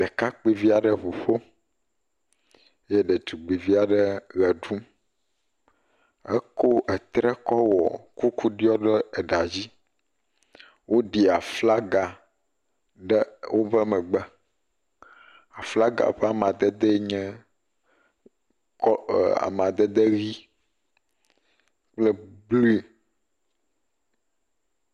Ɖekakpuivi aɖe ŋu ƒom eye ɖetugbuivi aɖe eʋe ɖum, ekɔ etre kɔ wɔ kuku diɔ ɖe eɖa dzi, woɖi aflaga ɖe woƒe megbe. Aflagfa ƒe amadedee nye amadede ʋikpl blu.